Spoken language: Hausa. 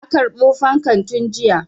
Na karɓo fankan tun jiya.